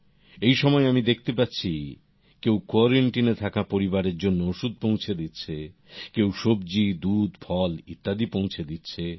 এই সময়ে আমি দেখতে পাচ্ছি কেউ কোয়ারান্টিনে থাকা পরিবারের জন্য ওষুধ পৌঁছে দিচ্ছে কেউ সব্জী দুধ ফল ইত্যাদি পৌঁছে দিচ্ছে